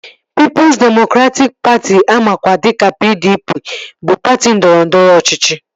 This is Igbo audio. Pịịpụs demokratịk Patị amakwa dịka PDP bụ patị ndọrọndọrọ ọchịchị